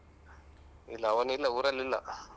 ಇಲ್ಲ ಅವನಿಲ್ಲ ಊರಲ್ಲಿಲ್ಲ.